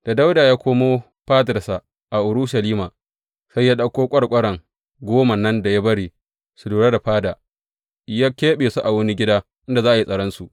Da Dawuda ya komo fadarsa a Urushalima, sai ya ɗauko ƙwarƙwaran goma nan da ya bari su lura da fada, ya keɓe su a wani gida inda za a yi tsaronsu.